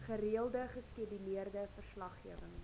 gereelde geskeduleerde verslaggewing